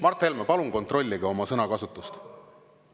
Mart Helme, palun kontrollige oma sõnakasutust!